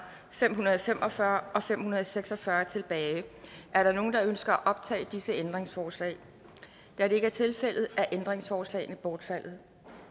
fem hundrede og fem og fyrre og fem hundrede og seks og fyrre tilbage er der nogen der ønsker at optage disse ændringsforslag da det ikke er tilfældet er ændringsforslagene bortfaldet